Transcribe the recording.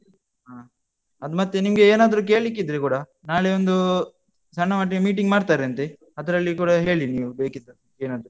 ಹ. ಅದು ಮತ್ತೆ ನಿಂಗೆ ಏನಾದ್ರು ಕೇಲಿಕ್ಕೆ ಇದ್ರೆ ಕೂಡ, ನಾಳೆ ಒಂದು ಸಣ್ಣ ಮಟ್ಟಿನ meeting ಮಾಡ್ತಾರಂತೆ ಅದ್ರಲ್ಲಿ ಕೂಡ ಹೇಳಿ ನೀವು ಬೇಕಿದದ್ದು ಏನಾದ್ರೂ.